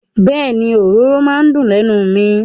Bẹ́ẹ̀ni, òróró maa n dùn lẹ́nu mi.